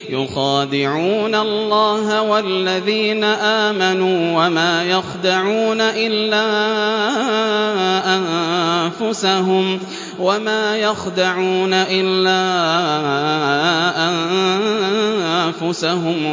يُخَادِعُونَ اللَّهَ وَالَّذِينَ آمَنُوا وَمَا يَخْدَعُونَ إِلَّا أَنفُسَهُمْ